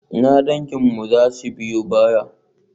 Ina danginmu za su biyo baya?